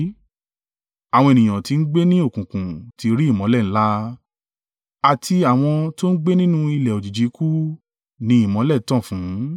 Àwọn ènìyàn tí ń gbé ni òkùnkùn tí ri ìmọ́lẹ̀ ńlá, àti àwọn tó ń gbé nínú ilẹ̀ òjijì ikú ni ìmọ́lẹ̀ tan fún.”